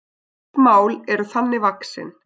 Fæst mál eru þannig vaxin.